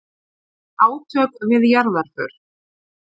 Átök við jarðarför